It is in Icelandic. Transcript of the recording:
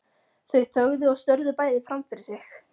Þau þögðu og störðu bæði fram fyrir sig.